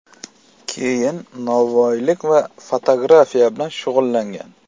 Keyin novvoylik va fotografiya bilan shug‘ullangan.